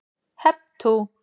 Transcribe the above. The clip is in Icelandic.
Hep tú!